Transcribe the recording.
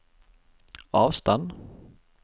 avstand